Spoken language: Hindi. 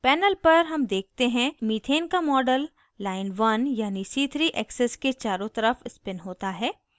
panel पर हम देखते हैं methane का model line1 1 यानी c3 axis के चारों तरफ spin होता है